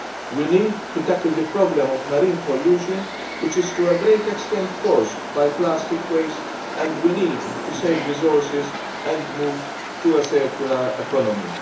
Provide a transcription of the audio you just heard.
We need to tackle the problem of marine pollution, which is to a great extent caused by plastic waste, and we need to save resources and move to a circular economy.